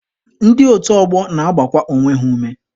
Ndị otu ọgbọ na-agbakwa onwe ha ume.